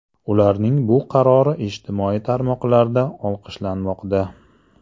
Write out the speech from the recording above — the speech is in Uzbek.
Ularning bu qarori ijtimoiy tarmoqlarda olqishlanmoqda.